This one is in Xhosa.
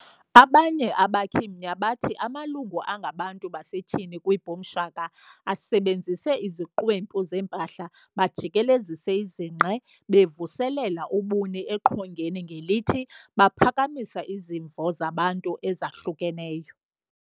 Abanye abakhi mnya batthi amalungu angabantu basetyhini kwiBoom Shaka asebenzise 'iziqwempu zempahla, bajikelezise izinqe, bevuselela ubuni eqongeni ngelithi baphakamisa izimvo zabantu ezahlukeneyo.'"